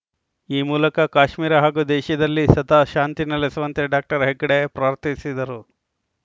ಈ ಮೂಲಕ ಕಾಶ್ಮೀರ ಹಾಗೂ ದೇಶದಲ್ಲಿ ಸದಾ ಶಾಂತಿ ನೆಲೆಸುವಂತೆ ಡಾಕ್ಟರ್ ಹೆಗ್ಗಡೆ ಪ್ರಾರ್ಥಿಸಿದರು